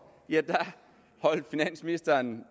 holdt finansministeren